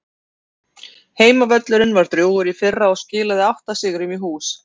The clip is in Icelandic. Heimavöllurinn var drjúgur í fyrra og skilaði átta sigrum í hús.